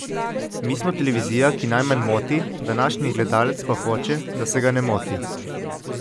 Mi smo televizija, ki najmanj moti, današnji gledalec pa hoče, da se ga ne moti.